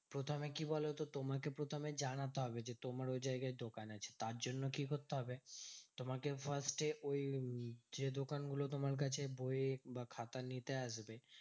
প্রথমে কি বলতো? তোমাকে প্রথমে জানাতে হবে যে, তোমার ওই জায়গায় দোকান আছে। তার জন্য কি করতে হবে? তোমাকে first এ ওই উম যে দোকানগুলো তোমার কাছে বই বা খাতা নিতে আসবে